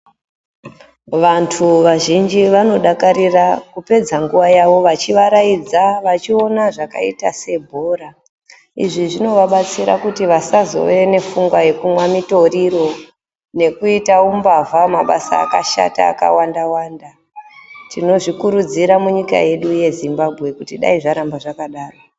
Vantu vazhinji vanodakarira kupedza nguva yavo vachivaraidza, vachiona zvakaita sebhora, izvi zvinovabatsira kuti vasazove nepfungwa yekumwa mitoriro nekuita umbavha mabasa akashata akawanda Wanda tinozvikurudzira munyika yedu yeZimbambwe kuti dai zvaramba zvakadaro.